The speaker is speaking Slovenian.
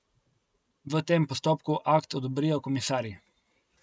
V tem postopku akt odobrijo komisarji.